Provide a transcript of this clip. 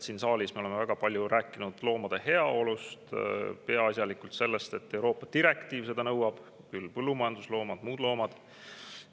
Siin saalis me oleme väga palju rääkinud loomade heaolust, peaasjalikult sellest, et Euroopa direktiiv seda nõuab – küll on põllumajandusloomi, küll muid loomi.